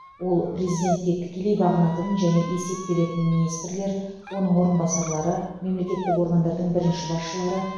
ол президентке тікелей бағынатын және есеп беретін министрлер оның орынбасарлары мемлекеттік органдардың бірінші басшылары